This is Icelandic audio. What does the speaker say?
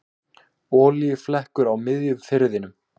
Olíuflekkur á miðjum firðinum